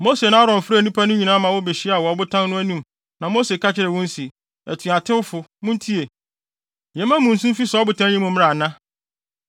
Mose ne Aaron frɛɛ nnipa no nyinaa ma wobehyiaa wɔ ɔbotan no anim na Mose ka kyerɛɛ wɔn se, “Atuatewfo, muntie! Yɛmma nsu mfi saa ɔbotan yi mu mmra ana?”